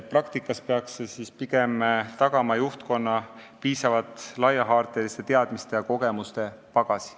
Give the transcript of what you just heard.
Praktikas peaks see pigem tagama juhtkonna piisavalt laiahaardeliste teadmiste ja kogemuste pagasi.